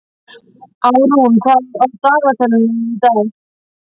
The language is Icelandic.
Árún, hvað er á dagatalinu í dag?